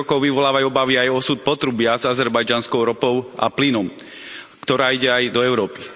90. rokov vyvolávajú obavy aj o osud potrubia s azerbajdžanskou ropou a plynom, ktorá ide aj do Európy.